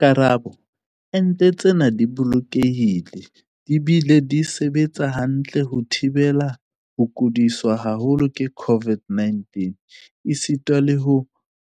Karabo- Ente tsena di bolokehile di bile di sebetsa hantle ho thibela ho kudiswa haholo ke COVID-19 esitana le ho